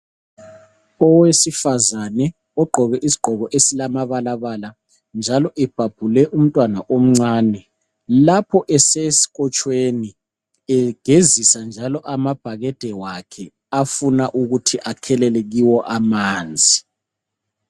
owesifazane ogqoke isigqoke esilamabalabala njalo ebhabhule umntwana omncane lapho esesikotshweni egezisa amabhakede lakhe efuna ukuthelela kuwo amanzi.